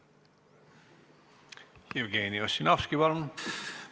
Jevgeni Ossinovski, palun!